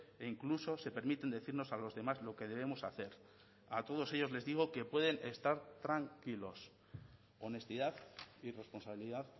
e incluso se permiten decirnos a los demás lo que debemos hacer a todos ellos les digo que pueden estar tranquilos honestidad y responsabilidad